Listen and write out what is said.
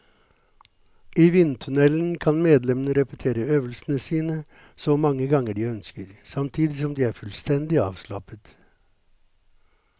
I vindtunnelen kan medlemmene repetere øvelsene sine så mange ganger de ønsker, samtidig som de er fullstendig avslappet.